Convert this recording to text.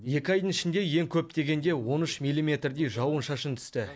екі айдың ішінде ең көп дегенде он үш миллиметрдей жауын шашын түсті